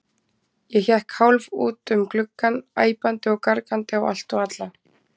Ég hékk hálf út um gluggann, æpandi og argandi á allt og alla.